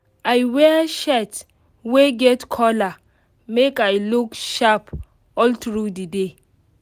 i wear shirt wey get collar make i look sharp all tru the day